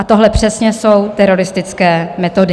A tohle přesně jsou teroristické metody.